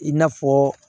I n'a fɔ